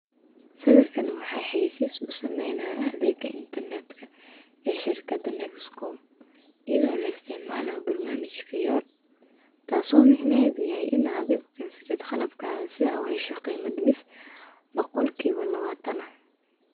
Sawirkan waxa xayeysis u samaynaya adeega intarneetka ee shirkadda Nexkom, iyadhoo la isticmaaloo barnaamijka Yoop. Taasoo micnaheedu yaay inaad adhigo keensatid qalabka aad si awheysho qiimad mis boqolkiiba lawatan.